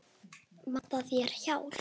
Vantar þig hjálp?